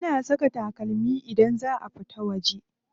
Ana saka takalmi idan za a fita waje.